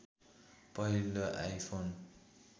पहिलो आइफोन